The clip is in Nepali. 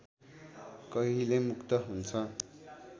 कहिले मुक्त हुन्छ